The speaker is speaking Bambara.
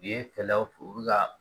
U ye fɛlɛw fɔ u bɛ ka